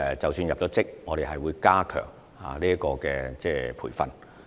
即使入職後，我們也會加強培訓。